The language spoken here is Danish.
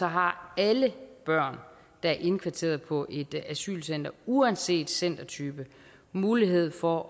har alle børn der er indkvarteret på et asylcenter uanset centertype mulighed for